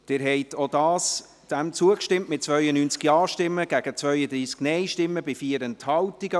Sie haben auch dem zugestimmt, mit 92 Ja- gegen 32 Nein-Stimmen bei 4 Enthaltungen.